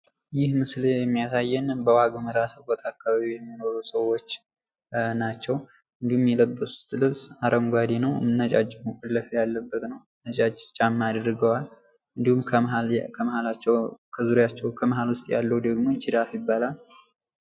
ይህም ምስል የሚያሳየንን በዋግመራ ስብከት አካባቢ የሚኖሩ ሰዎች ናቸው። እንዲሁም የለበሱት ልብስ አረንጓዴ ነው እና ነጫጭ ጫማ አድርገዋል። እንዲሁም ከ ከመሃላቸው ውስጥ ያለው ደግሞ ጅራፍ ይባላል።